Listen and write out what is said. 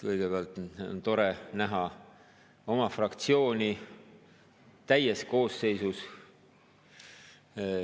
Kõigepealt on tore näha oma fraktsiooni täies koosseisus.